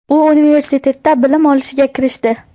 U universitetda bilim olishga kirishdi.